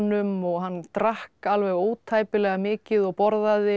hjákonum og hann drakk alveg ótæpilega mikið og borðaði